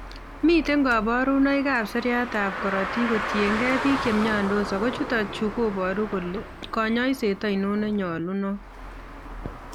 Miten kaborunoik ab seriat ab korotik kotienkei biik chemyondos ago chutok chuu koboru kole konyoiset aino nenyolunot